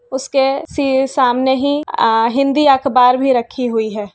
उसके सी समाने ही आ हिंदी अखबार में रखी हुई हैं।